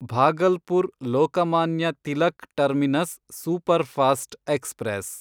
Bhagalpur Lokmanya Tilak terminus superfast express